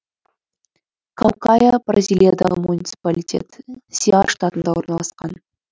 каукая бразилиядағы муниципалитет сеар штатында орналасқан